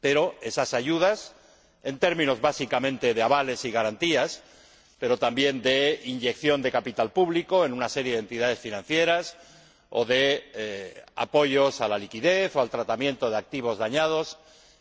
Pero esas ayudas públicas, en términos básicamente de avales y garantías, pero también de inyección de capital público en una serie de entidades financieras o de apoyos a la liquidez o al tratamiento de activos dañados,